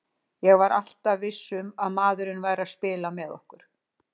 Ég var alltaf viss um að maðurinn væri að spila með okkur.